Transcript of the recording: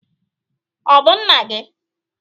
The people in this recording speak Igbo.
Ọ bụ nna gị?